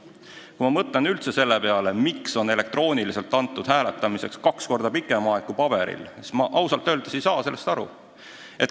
Samas, kui ma mõtlen selle peale, miks on elektrooniliselt hääletamiseks antud kaks korda pikem aeg kui paberil hääletamiseks, siis ma ausalt öeldes ei saa sellest aru.